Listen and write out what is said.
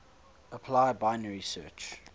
apply binary search